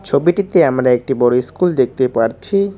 ছবিটিতে আমরা একটি বড় ইস্কুল দেখতে পারছি।